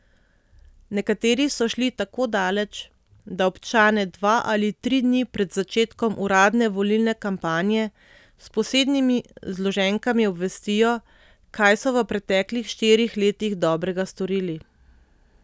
Nekateri so šli tako daleč, da občane dva ali tri dni pred začetkom uradne volilne kampanje s posebnimi zloženkami obvestijo, kaj so v preteklih štirih letih dobrega storili.